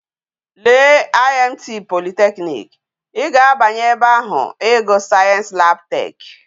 Lee IMT polytechnic! i ga abanyi ebe ahu igu science lab tech